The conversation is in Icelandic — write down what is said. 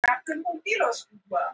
Frægur vegur hverfur á brott